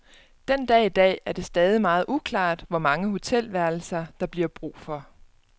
Den dag i dag er det stadig meget uklart, hvor mange hotelværelser, der bliver brug for.